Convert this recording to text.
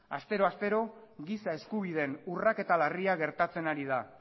astero astero giza eskubideen urraketa larria gertatzen ari da